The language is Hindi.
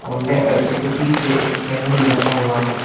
और उसके पीछे एक स्कैनर भी रखा हुआ है।